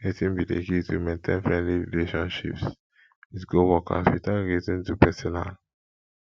wetin be di key to maintain friendly relationships with coworkers without getting too personal